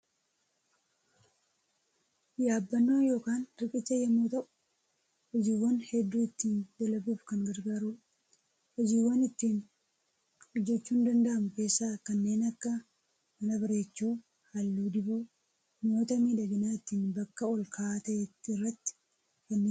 Yaabbannoo yookaan riqicha yommuu ta'u, hojiwwaan hedduu ittiin dalaguuf kan gargaarudha. Hojiiwwan ittiin hojjechuun danda’amu keessaa kanneen akka mana bareechuu, halluu dibuu, mi'oota miidhaginaa ittiin bakka ol ka'aa ta'e irratti fannisuu fi kanneen kana fakkaatanidha.